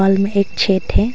बगल में एक छेद है।